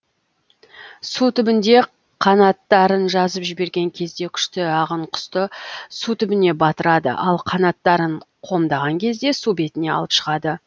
су түбінде қанаттарын жазып жіберген кезде күшті ағын құсты су түбіне батырады ал қанаттарын қомдаған кезде су бетіне алып шығады